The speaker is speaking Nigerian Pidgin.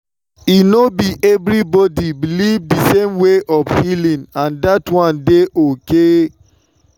e no be everybody believe the same way for healing and that one dey okay.